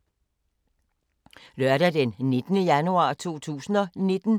Lørdag d. 19. januar 2019